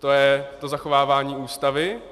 To je to zachovávání Ústavy?